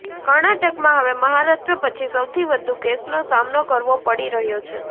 કર્ણાટકમાં હવે મહારાષ્ટ્ર પછી સૌથી વધુ કેસનો સામનો કરવો પડી રહ્યો છે